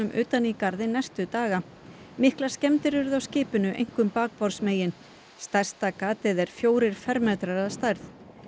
utan í garðinn næstu daga miklar skemmdir urðu á skipinu einkum bakborðsmegin stærsta gatið er fjórir fermetrar að stærð